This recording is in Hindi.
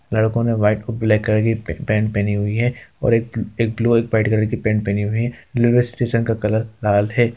लड़को ने व्हाइट और ब्लैक कलर की प पैंट पेहनी हुई है और एक एक ब्लू व्हाइट कलर की पैंट पेहनी हुई है| रेलवे स्टेशन का कलर लाल है।